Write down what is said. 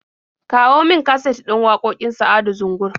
Kawo min kaset din waƙoƙin Sa'adu Zungur.